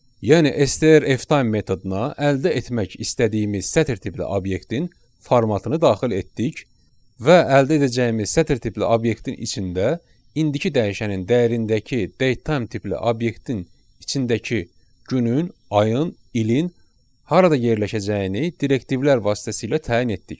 Yəni STR Ftime metoduna əldə etmək istədiyimiz sətr tipli obyektin formatını daxil etdik və əldə edəcəyimiz sətr tipli obyektin içində indiki dəyişənin dəyərindəki datetime tipli obyektin içindəki günün, ayın, ilin harada yerləşəcəyini direktivlər vasitəsilə təyin etdik.